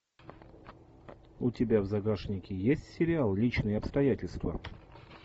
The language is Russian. у тебя в загашнике есть сериал личные обстоятельства